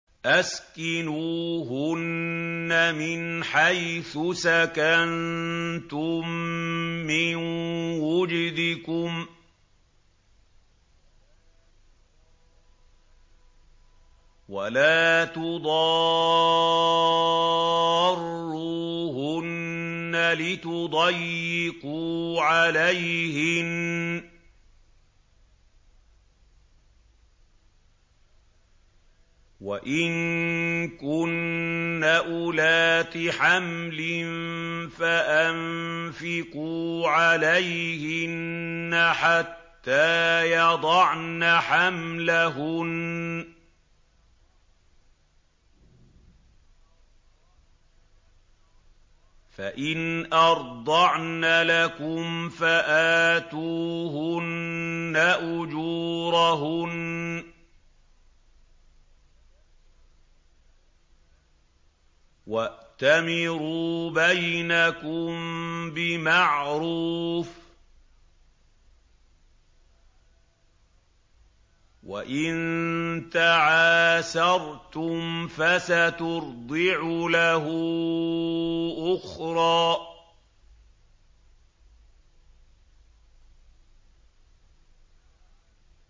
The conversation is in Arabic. أَسْكِنُوهُنَّ مِنْ حَيْثُ سَكَنتُم مِّن وُجْدِكُمْ وَلَا تُضَارُّوهُنَّ لِتُضَيِّقُوا عَلَيْهِنَّ ۚ وَإِن كُنَّ أُولَاتِ حَمْلٍ فَأَنفِقُوا عَلَيْهِنَّ حَتَّىٰ يَضَعْنَ حَمْلَهُنَّ ۚ فَإِنْ أَرْضَعْنَ لَكُمْ فَآتُوهُنَّ أُجُورَهُنَّ ۖ وَأْتَمِرُوا بَيْنَكُم بِمَعْرُوفٍ ۖ وَإِن تَعَاسَرْتُمْ فَسَتُرْضِعُ لَهُ أُخْرَىٰ